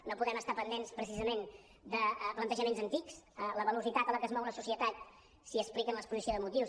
no podem estar pendents precisament de plantejaments antics la velocitat a què es mou la societat s’explica en l’exposició de motius